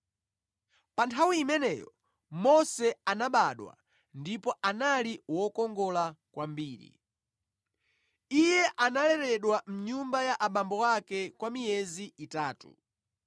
“Pa nthawi imeneyo Mose anabadwa, ndipo anali wokongola kwambiri. Iye analeredwa mʼnyumba ya abambo ake kwa miyezi itatu.